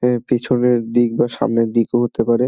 এ পিছনের দিক বা সামনের দিক ও হতে পারে।